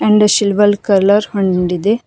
ಒಂದ್ silver colour ಹಂಡ್ ಇದೆ.